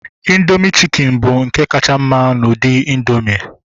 Indoomị chikin bụ nke kacha mma n'ụdị indoomị